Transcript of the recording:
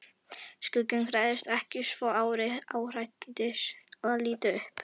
Skugginn hrærðist ekki svo Ari áræddi að líta upp.